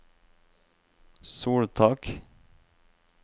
soltak